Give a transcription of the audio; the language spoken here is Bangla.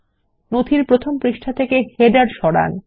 নথির প্রথম পৃষ্ঠা থেকে শিরোলেখ সরান